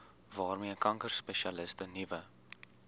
waarmee kankerspesialiste nuwe